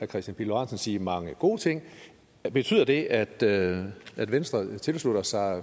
kristian pihl lorentzen sige mange gode ting betyder det at det at venstre tilslutter sig